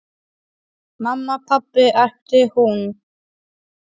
Mamma, pabbi æpti hún.